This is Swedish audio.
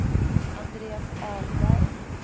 Andreas Ahlberg